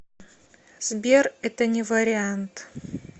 сбер это не вариант